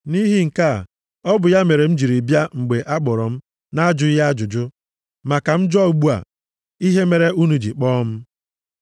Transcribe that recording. Nʼihi nke a, ọ bụ ya mere m jiri bịa mgbe akpọrọ m na-ajụghị ajụjụ. Ma ka m jụọ ugbu a ihe mere unu ji kpọọ m?”